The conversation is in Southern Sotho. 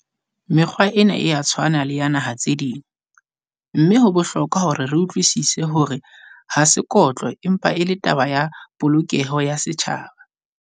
Mekgwa ena e a tshwana le ya naha tse ding, mme ho bohlokwa hore re utlwisise hore ha sekotlo empa e le taba ya polokeho ya setjhaba.